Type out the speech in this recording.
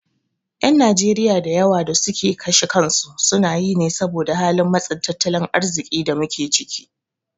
Ƴan Najeriya da yawa da suke kashe kansu sunayi ne saboda halin matsin tattalin arziƙin da muke ciki.